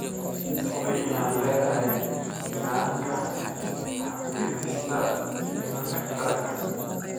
Hubi inaad leedahay nidaamka xafidista diiwaanka taranka.